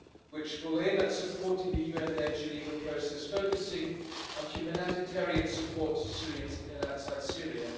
which will aim at supporting the UN led Geneva process, focusing on humanitarian support to Syrians inside and outside Syria.